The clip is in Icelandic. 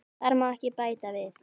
Þar má ekki bæta við.